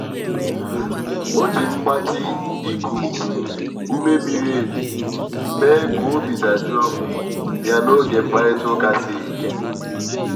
o ji mgbatị iku um ume miri emi mee ka obi dajụọ um ya n'oge mkparịta ụka siri ike.